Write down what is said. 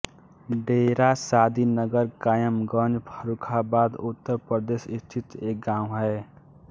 डेरा शादीनगर कायमगंज फर्रुखाबाद उत्तर प्रदेश स्थित एक गाँव है